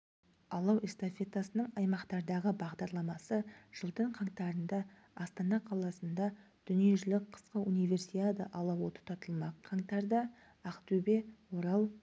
алау эстафетасының аймақтардағы бағдарламасы жылдың қаңтарында астана қаласында дүниежүзілік қысқы универсиада алауы тұтатылмақ қаңтарда ақтөбе орал